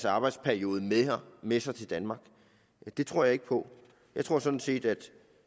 arbejdsperiode med sig til danmark det tror jeg ikke på jeg tror sådan set at